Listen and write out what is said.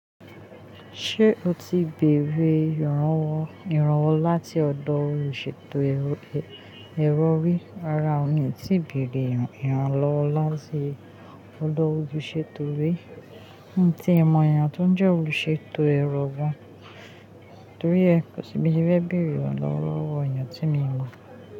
Ṣé o ti bèrè ìrànwọ́ láti ọ̀dọ̀ olùṣètò èrọ rí? Rárá o, mi ò tíì bèrè ìrànlọ́wọ́ láti ọ̀dọ̀ olùṣètò rí, n tí ẹ̀ mọ èèyàn tó n jẹ́ olùṣètò ẹ̀rọ gan torí ẹ́ kò sí bí tí mo ti fẹ́ bẹ̀rẹ̀ ìrànlọ́wọ́ lọ́wọ́ èèyàn tí míì mọ̀